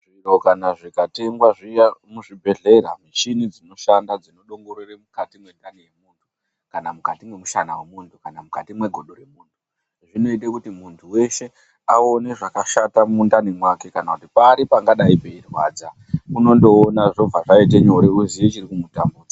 Zviro kana zvikatengwa zviya muzvibhedhlera. Mishini dzinoshanda dzinodongorere mukati mwendani yemunhu kana mukati mwemishana yemunhu kana mukati mwegodo remunhu. Zvinoite kuti muntu weshe aone zvakashata mumundani mwake kana kuti pari pangadai peirwadza Unondoona zvobva zvaite nyore woziye chiri kumutambudza.